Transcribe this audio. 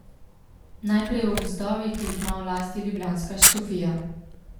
Najprej o gozdovih, ki jih ima v lasti ljubljanska škofija.